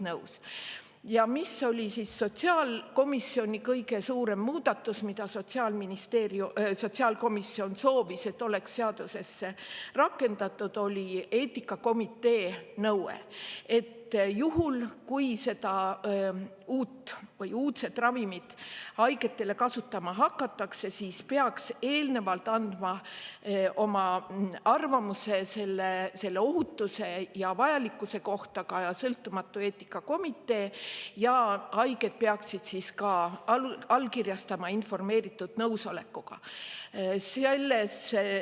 Sotsiaalkomisjonis kõige suurem muudatus, mida Sotsiaalministeerium soovis, oli see, et seaduses oleks rakendatud eetikakomiteenõue: juhul, kui uut või uudset ravimit haigete kasutama hakatakse, siis peaks eelnevalt andma oma arvamuse selle ohutuse ja vajalikkuse kohta sõltumatu eetikakomitee ja haiged peaksid allkirjastama informeeritud nõusoleku.